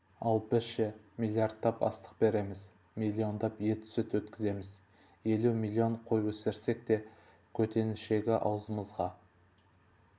ал біз ше миллиардтап астық береміз миллиондап ет-сүт өткіземіз елу миллион қой өсірсек те көтенішегі аузымызға